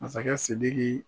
Masakɛ Sidiki